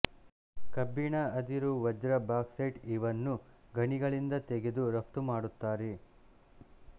ಕಬ್ಬಿಣ ಅದಿರು ವಜ್ರ ಬಾಕ್ಸೈಟ್ ಇವನ್ನು ಗಣಿಗಳಿಂದ ತೆಗೆದು ರಫ್ತು ಮಾಡುತ್ತಾರೆ